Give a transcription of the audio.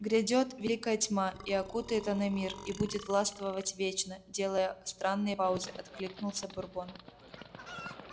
грядёт великая тьма и окутает она мир и будет властвовать вечно делая странные паузы откликнулся бурбон